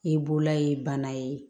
I bolola ye bana ye